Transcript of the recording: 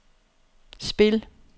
spil